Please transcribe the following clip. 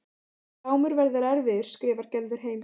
Glámur verður erfiður, skrifar Gerður heim.